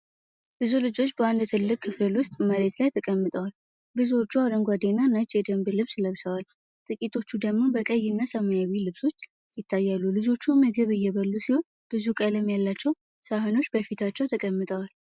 ብዙ ልጆች በአንድ ትልቅ ክፍል ውስጥ መሬት ላይ ተቀምጠዋል። ብዙዎቹ አረንጓዴና ነጭ የደንብ ልብስ ለብሰዋል፣ ጥቂቶቹ ደግሞ በቀይ እና ሰማያዊ ልብሶች ይታያሉ። ልጆቹ ምግብ እየበሉ ሲሆን፣ ብዙ ቀለም ያላቸው ሳህኖች በፊታቸው ተቀምጠዋል።